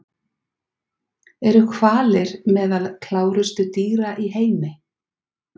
Eru hvalir meðal klárustu dýra í heimi?